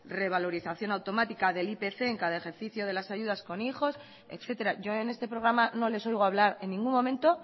revalorización automática del ipc en cada ejercicio de las ayudas con hijos etcétera yo en este programa no les oigo hablar en ningún momento